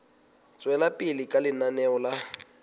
tswela pele ka lenaneo la